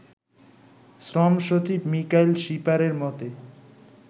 শ্রম সচিব মিকাইল শিপারের মতে